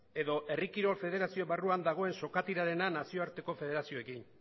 edo herri kirol federazio barruan dagoen sokatirarena nazioarteko federazioekin